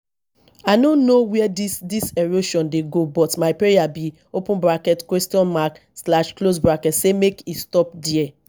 i no know where dis dis erosion dey go but my prayer be say make e stop there